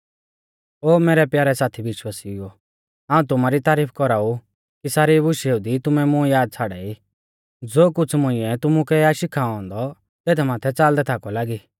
ओ मैरै प्यारै साथी विश्वासिउओ हाऊं तुमारी तारीफ कौराऊ कि सारी बुशेऊ दी तुमै मुं याद छ़ाड़ाई ज़ो कुछ़ मुंइऐ तुमुकै आ शिखाऔ औन्दौ तेथ माथै च़ालदै थाकौ लागी